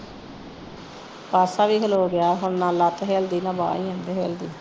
ਪਾਸਾ ਵੀ ਖਲੋ ਗਿਆ ਹੁਣ ਨਾ ਲੱਤ ਹਿਲਦੀ ਨਾ ਬਾਂਹ ਹਿਲਦੀ